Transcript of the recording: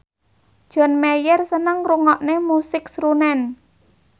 John Mayer seneng ngrungokne musik srunen